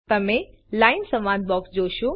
તમે લાઇન સંવાદ બોક્સ જોશો